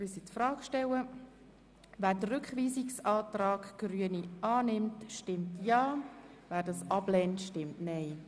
Wer den Rückweisungsantrag der Grünen annimmt, stimmt Ja, wer ihn ablehnt, stimmt Nein.